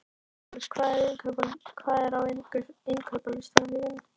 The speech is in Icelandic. Steinólfur, hvað er á innkaupalistanum mínum?